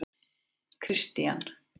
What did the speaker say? Kristian